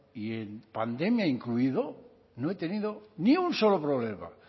y en pandemia incluido no he tenido ni un solo problema